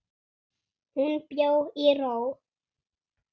Hún bjó í ró.